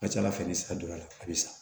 A ka ca ala fɛ ni sira donna a bɛ sa